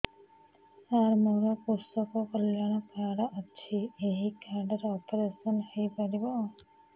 ସାର ମୋର କୃଷକ କଲ୍ୟାଣ କାର୍ଡ ଅଛି ଏହି କାର୍ଡ ରେ ଅପେରସନ ହେଇପାରିବ